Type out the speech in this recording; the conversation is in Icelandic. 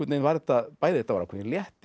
var þetta ákveðinn léttir